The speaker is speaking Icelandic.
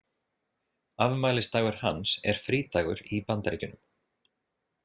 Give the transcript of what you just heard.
Afmælisdagur hans er frídagur í Bandaríkjunum.